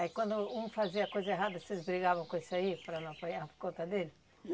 Aí quando um fazia coisa errada, vocês brigavam com esse aí para não apanhar por conta dele?